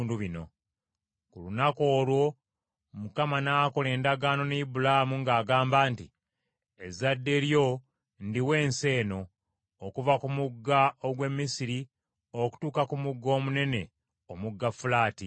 Ku lunaku olwo Mukama n’akola endagaano ne Ibulaamu ng’agamba nti, “Ezadde lyo ndiwa ensi eno, okuva ku mugga ogw’e Misiri okutuuka ku mugga omunene, omugga Fulaati: